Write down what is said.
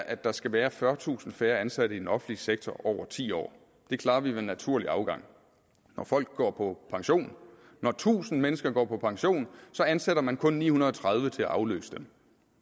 at der skal være fyrretusind færre ansatte i den offentlige sektor over ti år det klarer vi med naturlig afgang når folk går på pension når tusind mennesker går på pension ansætter man kun ni hundrede og tredive til at afløse dem